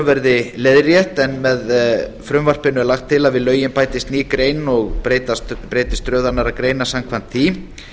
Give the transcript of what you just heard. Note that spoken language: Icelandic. verði leiðrétt en með frumvarpinu er lagt til að við lögin bætist ný grein og breytast röðunargreinar samkvæmt því